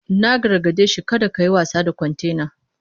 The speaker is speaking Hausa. Na gargade shi 'Kada kayi wasa da kwantena!'